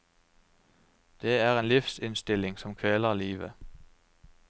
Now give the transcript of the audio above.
Det er en livsinnstilling som kveler livet.